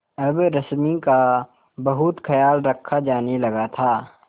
अब रश्मि का बहुत ख्याल रखा जाने लगा था